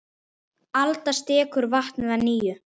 Alda skekur vatnið að nýju.